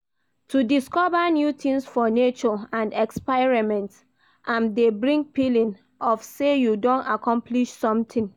To discover new things for nature and experiment am de bring feeling of say you don accomplish something